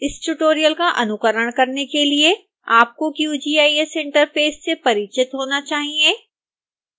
इस ट्यूटोरियल का अनुकरण करने के लिए आपको qgis इंटरफेस से परिचित होना चाहिए